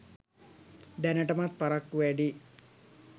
දැනටමත් පරක්කු වැඩියි